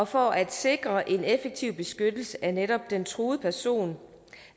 for at sikre en effektiv beskyttelse af netop den truede person